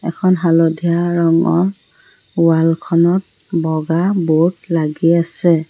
এখন হালধীয়া ৰঙৰ ৱাল খনত এখন বগা বোৰ্ড লাগি আছে।